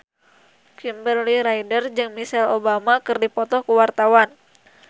Kimberly Ryder jeung Michelle Obama keur dipoto ku wartawan